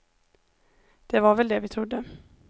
Det var väl det vi trodde.